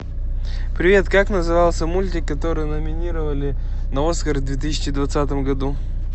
привет как назывался мультик который номинировали на оскар в две тысячи двадцатом году